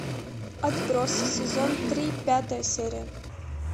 отбросы сезон три пятая серия